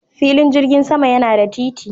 Filin jirgin sama yana da titi.